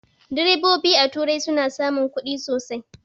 Direbobi a turai suna samun ƙudi sosai